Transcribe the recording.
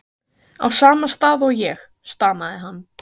á sama stað og ég, stamaði hann.